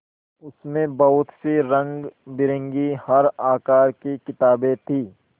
उसमें बहुत सी रंगबिरंगी हर आकार की किताबें थीं